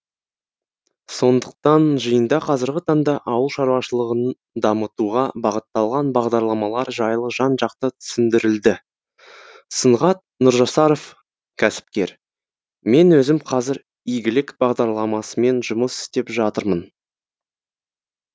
сондықтан жиында қазіргі таңда ауыл шаруашылығын дамытуға бағытталған бағдарламалар жайлы жан жақты түсіндірілді сұңғат нұржасаров кәсіпкер мен өзім қазір игілік бағдарламасымен жұмыс істеп жатырмын